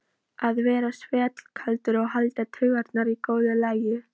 Að vera svellkaldur og hafa taugarnar í góðu lagi!